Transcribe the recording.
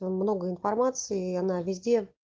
много информации и она везде